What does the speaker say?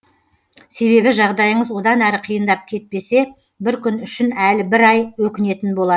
себебі жағдайыңыз одан әрі қиындап кетпесе бір күн үшін әлі бір ай өкінетін бола